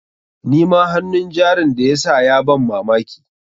Nima hannun jarin da ya sa ya ban mamaki.